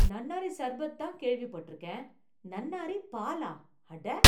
நன்னாரி சர்பத் தான் கேள்விப் பட்டிருக்கேன். நன்னாரி பாலா? அட.